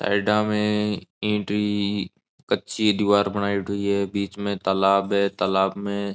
साइडा में ईंट की एक कच्ची दीवार बनायेडी है बीच में तालाब है तालाब में --